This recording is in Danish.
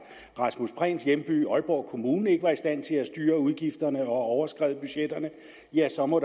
rasmus prehns hjemby aalborg aalborg kommune ikke er i stand til at styre udgifterne og overskrider budgetterne ja så må